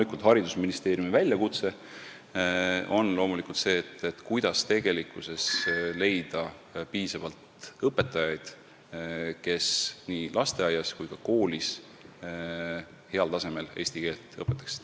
Aga haridusministeeriumi väljakutse on loomulikult see, kuidas leida piisavalt õpetajaid, kes nii lasteaias kui ka koolis heal tasemel eesti keelt õpetaksid.